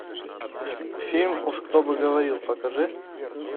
фильм уж кто бы говорил покажи